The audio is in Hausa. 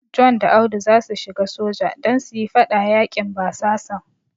John da Audu zasu shiga soja don su yi fada yaƙin basasan.